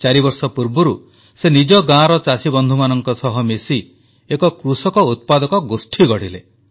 ଚାରିବର୍ଷ ପୂର୍ବରୁ ସେ ନିଜ ଗାଁର ଚାଷୀ ବନ୍ଧୁମାନଙ୍କ ସହ ମିଶି ଏକ କୃଷକ ଉତ୍ପାଦକ ଗୋଷ୍ଠୀ ଗଢ଼ିଲେ